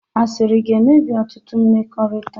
Asịrị ga-emebi ọtụtụ mmekọrịta